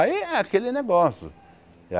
Aí é aquele negócio.